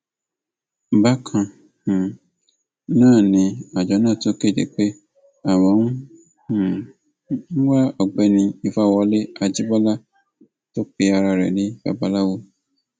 bákan um náà ni àjọ náà tún kéde pé àwọn ń um wá ọgbẹni ìfawọlẹ ajíbọlá tó pe ara rẹ ní babaláwo